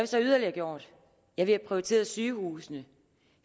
så yderligere gjort ja vi har prioriteret sygehusene